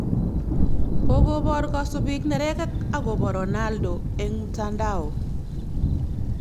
Kogobor kasubik nerekek agobo Ronaldo eng mtandao